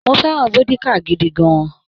Mo fẹ́ràn vódíkà gidi gan-an.